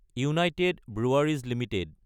United Breweries Ltd